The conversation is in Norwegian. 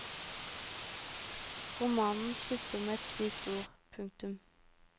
Romanen slutter med et slikt ord. punktum